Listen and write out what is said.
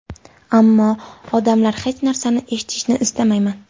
Ammo... odamlar... Hech narsani eshitishni istamayman!